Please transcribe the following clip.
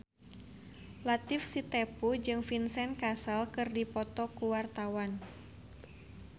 Latief Sitepu jeung Vincent Cassel keur dipoto ku wartawan